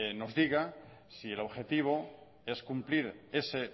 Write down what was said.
nos diga si el objetivo es cumplir ese